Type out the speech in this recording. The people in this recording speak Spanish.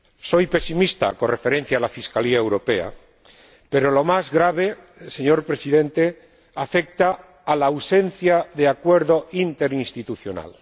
Soy pesimista con relación a la fiscalía europea, pero lo más grave, señor Presidente, afecta a la ausencia de acuerdo interinstitucional.